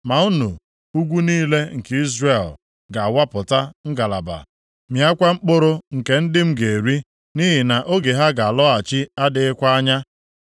“ ‘Ma unu, ugwu niile nke Izrel ga-awapụta ngalaba, mịakwa mkpụrụ nke ndị m ga-eri, nʼihi na oge ha ga-alọghachi adịghịkwa anya.